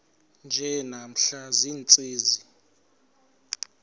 nje namhla ziintsizi